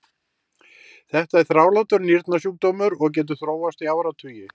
þetta er þrálátur nýrnasjúkdómur og getur þróast í áratugi